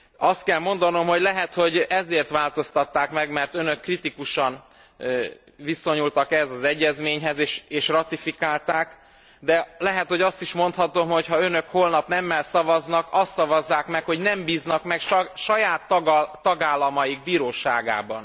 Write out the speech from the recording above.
Azt kell mondanom, hogy lehet, hogy ezért változtatták meg, mert Önök kritikusan viszonyultak ehhez az egyezményhez és ratifikálták, de lehet, hogy azt is mondhatom, hogy ha Önök holnap nemmel szavaznak, azt szavazzák meg, hogy nem bíznak meg saját tagállamaik bíróságaiban.